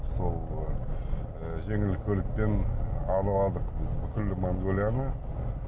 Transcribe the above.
сол ы жеңіл көлікпен араладық біз бүкіл монғолияны